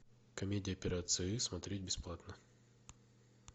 комедия операция ы смотреть бесплатно